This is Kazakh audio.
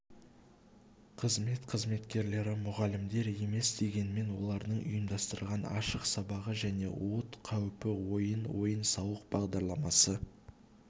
қызмет қызметкерлері мұғалімдер емес дегенмен олардың ұйымдастырған ашық сабағы және от қауіпті ойын ойын-сауық бағдарламасы